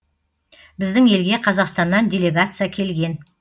біздің елге қазақстаннан делегация келген